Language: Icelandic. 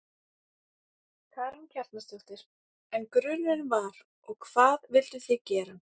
Karen Kjartansdóttir: En grunurinn var, og hvað vilduð þið gera?